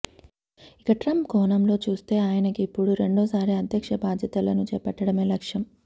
ఇక ట్రంప్ కోణంలో చూస్తే ఆయనకిపుడు రెండో సారి అధ్యక్ష బాధ్యతలను చేపట్టడమే లక్ష్యం